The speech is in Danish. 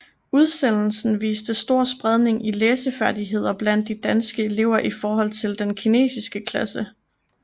Udsendelsen viste stor spredning i læsefærdigheder blandt de danske elever i forhold til den kinesiske klasse